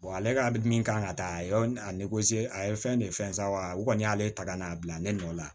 ale ka min kan ka taa a y'o a ye fɛn de fɛn san wa o kɔni y'ale ta n'a bila ne nɔ la